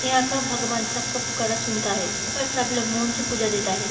यहाँ का भगवन सब का पुकारा सुनता है यहाँ पे सब लोग मोंन से पूजा देता है।